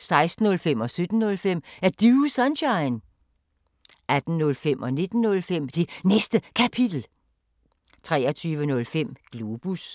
16:05: Er Du Sunshine? 17:05: Er Du Sunshine? 18:05: Det Næste Kapitel 19:05: Det Næste Kapitel, fortsat 23:05: Globus